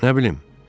Nə bilim.